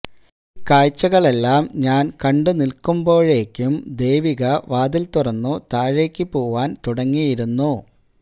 ഈ കാഴ്ചകളെല്ലാം ഞാൻ കണ്ടു നിൽക്കുമ്പോളേക്കും ദേവിക വാതിൽ തുറന്നു താഴേക്കു പോവാൻ തുടങ്ങിയിരുന്നു